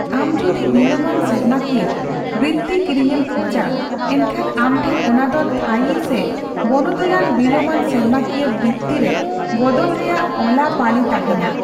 ᱟᱢ ᱡᱩᱫᱤ ᱵᱤᱞᱚᱢᱟᱱ ᱥᱮᱨᱢᱟᱠᱤᱭᱟᱹ ᱵᱨᱤᱛᱛᱤ ᱠᱤᱨᱤᱧᱮᱢ ᱠᱷᱚᱡᱟ, ᱮᱱᱠᱷᱟᱱ ᱟᱢᱴᱷᱮᱱ ᱚᱱᱟᱫᱚ ᱛᱷᱟᱹᱭᱤ ᱥᱮ ᱵᱚᱱᱚᱫᱚᱞᱟᱱ ᱵᱤᱞᱚᱢᱟᱱ ᱥᱮᱨᱢᱟᱠᱤᱭᱟᱹ ᱵᱨᱤᱛᱛᱤ ᱨᱮ ᱵᱚᱫᱚᱞ ᱨᱮᱭᱟᱜ ᱚᱞᱟᱼᱯᱟᱞᱤ ᱛᱟᱦᱮᱱᱟ ᱾